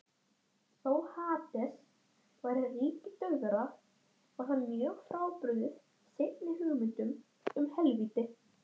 Hann vildi borga mér!